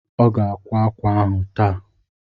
Ọ ga-akwá ákwà ahụ taa.